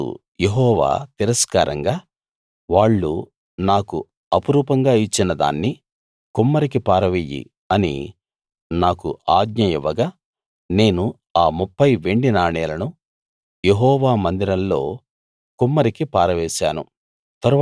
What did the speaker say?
అప్పుడు యెహోవా తిరస్కారంగా వాళ్ళు నాకు అపురూపంగా ఇచ్చిన దాన్ని కుమ్మరికి పారవెయ్యి అని నాకు ఆజ్ఞ ఇవ్వగా నేను ఆ 30 వెండి నాణేలను యెహోవా మందిరంలో కుమ్మరికి పారవేశాను